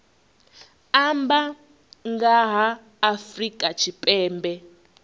amba nga ha afrika tshipembe